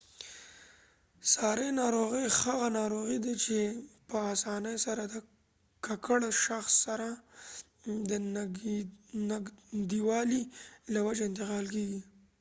ساري ناروغي هغه ناروغي ده چې په آسانۍ سره د ککړ شخص سره د نږدیوالي له وجې انتقال کیږي